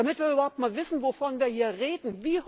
Damit wir überhaupt einmal wissen, wovon wir hier reden.